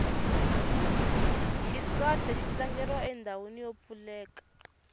xiswathe xi tlangeriwa endhawini yo pfuleka